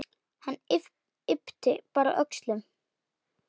Hann yppti bara öxlum.